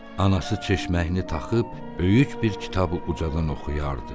Anası çeşməyini taxıb, böyük bir kitabı ucadan oxuyardı.